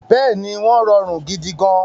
Bẹ́ẹ̀ni, wọ́n rọrùn gidigan